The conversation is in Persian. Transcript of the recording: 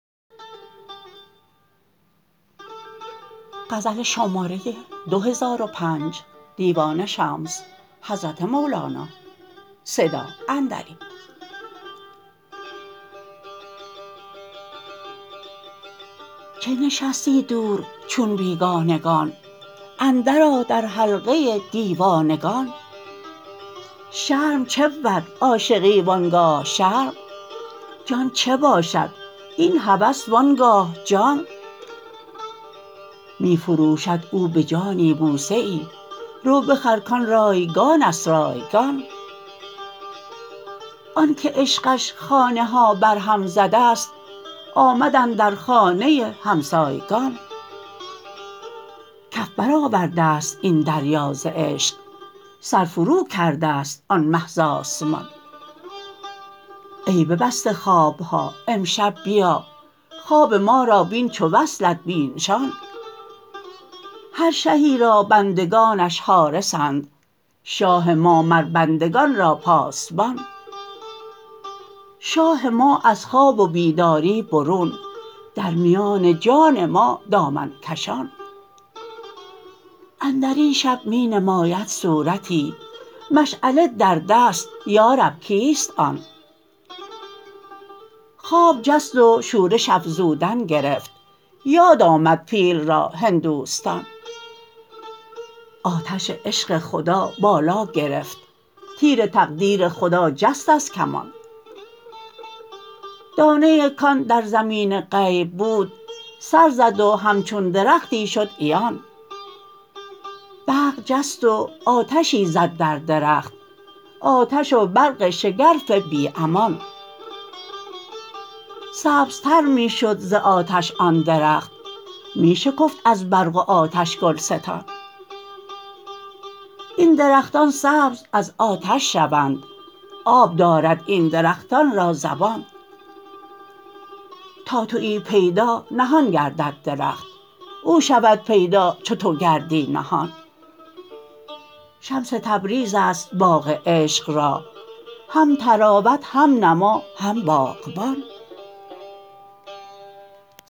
چه نشستی دور چون بیگانگان اندرآ در حلقه دیوانگان شرم چه بود عاشقی و آن گاه شرم جان چه باشد این هوس و آن گاه جان می فروشد او به جانی بوسه ای رو بخر کان رایگان است رایگان آنک عشقش خانه ها برهم زده ست آمد اندر خانه همسایگان کف برآورده ست این دریا ز عشق سر فروکرده ست آن مه ز آسمان ای ببسته خواب ها امشب بیا خواب ما را بین چو وصلت بی نشان هر شهی را بندگانش حارسند شاه ما مر بندگان را پاسبان شاه ما از خواب و بیداری برون در میان جان ما دامن کشان اندر این شب می نماید صورتی مشعله در دست یا رب کیست آن خواب جست و شورش افزودن گرفت یاد آمد پیل را هندوستان آتش عشق خدا بالا گرفت تیر تقدیر خدا جست از کمان دانه ای کان در زمین غیب بود سر زد و همچون درختی شد عیان برق جست و آتشی زد در درخت آتش و برق شگرف بی امان سبزتر می شد ز آتش آن درخت می شکفت از برق و آتش گلستان این درختان سبز از آتش شوند آب دارد این درختان را زبان تا توی پیدا نهان گردد درخت او شود پیدا چو تو گردی نهان شمس تبریز است باغ عشق را هم طراوت هم نما هم باغبان